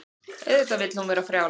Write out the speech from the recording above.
Auðvitað vill hún vera frjáls.